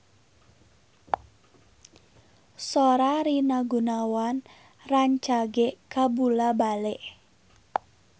Sora Rina Gunawan rancage kabula-bale